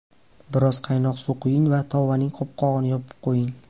Biroz qaynoq suv quying va tovaning qopqog‘ini yopib qo‘ying.